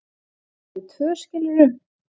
bara við tvö, skilurðu.